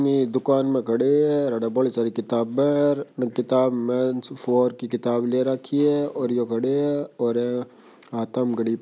''ये दुकान में खड़े है बोली सारी किताबां है किताब में मेंस वॉर की किताब ले रखी है और ये खड़े है और हाथां म घडी --''